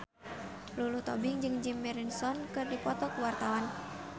Lulu Tobing jeung Jim Morrison keur dipoto ku wartawan